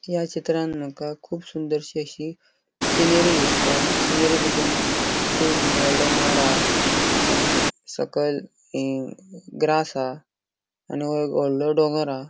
या चित्रान मका कूब सुंदरशी अशी सिनेरी दिसता सिनेरी बितून कुब वोडले माड हा आणि सकयल ये ग्रास हा आणि वो एक वॉडलों डोंगोर हा.